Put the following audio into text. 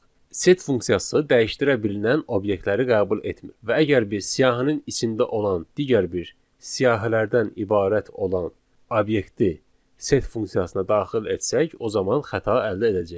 Set funksiyası dəyişdirə bilinən obyektləri qəbul etmir və əgər biz siyahının içində olan digər bir siyahılardan ibarət olan obyekti set funksiyasına daxil etsək, o zaman xəta əldə edəcəyik.